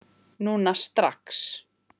Núna strax?